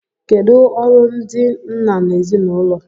Kedụ ọrụ ndị nna n'ezinụlọ?